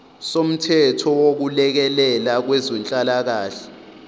somthetho wokulekelela kwezenhlalakahle